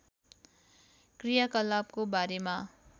क्रियाकलापको बारेमा